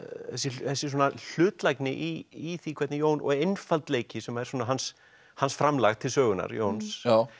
þessi svona hlutlægni í því hvernig Jón og einfaldleiki sem er svona hans hans framlag til sögunnar Jóns